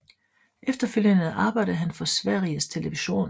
Efterfølgende arbejdede han for Sveriges Television